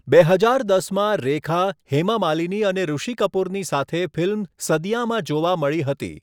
બે હજાર દસમાં રેખા, હેમા માલિની અને ઋષિ કપૂરની સાથે ફિલ્મ સદિયાંમાં જોવા મળી હતી.